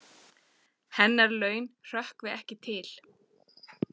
Hennar laun hrökkvi ekki til.